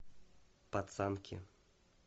пацанки